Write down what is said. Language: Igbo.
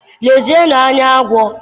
Lezienụ anya agwọ!